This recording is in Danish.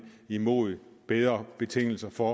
imod bedre betingelser for